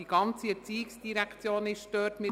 Die ganze ERZ ist dort untergebracht.